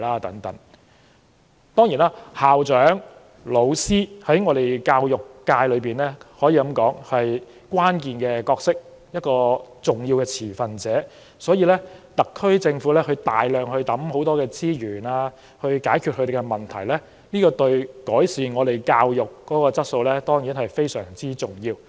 既然校長和教師在教育界中扮演着關鍵角色，也是重要的持份者，特區政府大量投放資源以解決他們面對的問題之舉，對於改善教育質素當然亦是相當重要。